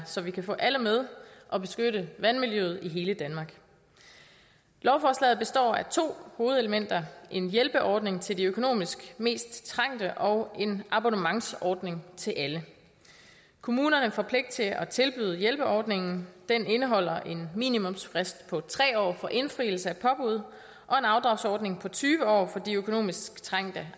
så vi kan få alle med og beskytte vandmiljøet i hele danmark lovforslaget består af to hovedelementer en hjælpeordning til er økonomisk mest trængt og en abonnementsordning til alle kommunerne får pligt til at tilbyde hjælpeordningen den indeholder en minimumsfrist på tre år for indfrielse af påbud og en afdragsordning på tyve år for de økonomisk trængt